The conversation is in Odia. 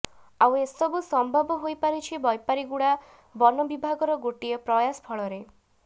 ଆଉ ଏସବୁ ସମ୍ଭବ ହୋଇପାରିଛି ବୈପାରିଗୁଡ଼ା ବନ ବିଭାଗର ଗୋଟିଏ ପ୍ରୟାସ ଫଳରେ